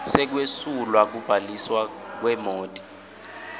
sekwesulwa kubhaliswa kwemoti